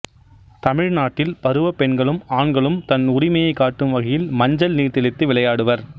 தமிழ்நாட்டில் பருவப் பெண்களும் ஆண்களும் தன் உரிமையைக் காட்டும் வகையில் மஞ்சள் நீர் தெளித்து விளையாடுவர்